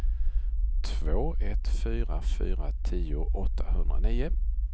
två ett fyra fyra tio åttahundranio